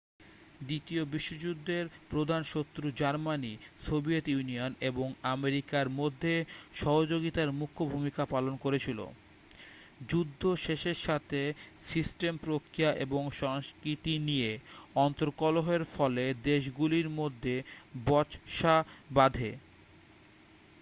দ্বিতীয় বিশ্বযুদ্ধের প্রধান শত্রু জার্মানি সোভিয়েত ইউনিয়ন এবং আমেরিকার মধ্যে সহযোগিতার মুখ্য ভূমিকা পালন করছিল যুদ্ধ শেষের সাথে সিস্টেম প্রক্রিয়া এবং সংস্কৃতি নিয়ে অন্তর্কলহের ফলে দেশগুলির মধ্যে বচসা বাধে